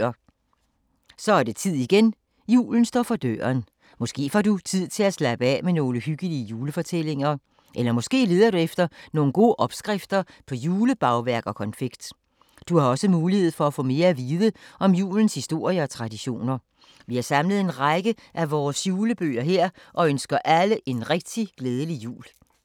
Så er det tid igen, julen står for døren. Måske får du tid til at slappe af med nogle hyggelige julefortællinger. Eller måske leder du efter nogle gode opskrifter på julebagværk og konfekt. Du har også mulighed for at få mere at vide om julens historie og traditioner. Vi har samlet en række af vores julebøger her og ønsker alle en rigtig glædelig jul!